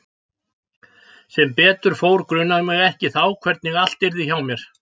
Sem betur fór grunaði mig ekki þá hvernig allt yrði hjá mér.